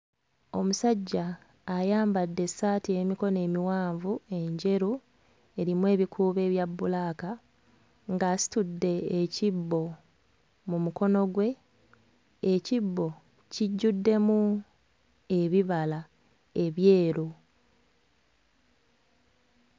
Omusajja ayambadde essaati ey'emikono emiwanvu enjeru erimu ebikuubo ebya bbulaaka ng'asitudde ekibbo mu mukono gwe. Ekibbo kijjuddemu ebibala ebyeru.